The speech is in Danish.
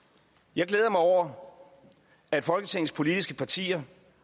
jeg glæder mig over at folketingets politiske partier